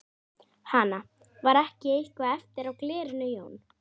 Hana. var ekki eitthvað eftir á glerinu Jón?